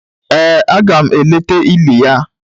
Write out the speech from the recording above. Ee, aga m eleta ili ya